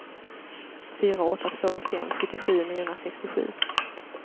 fyra åtta två fem sjuttiosju niohundrasextiosju